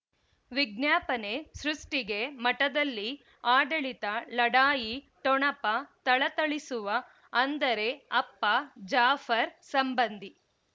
ವಿಜ್ಞಾಪನೆ ಸೃಷ್ಟಿಗೆ ಮಠದಲ್ಲಿ ಆಡಳಿತ ಲಢಾಯಿ ಠೊಣಪ ಥಳಥಳಿಸುವ ಅಂದರೆ ಅಪ್ಪ ಜಾಫರ್ ಸಂಬಂಧಿ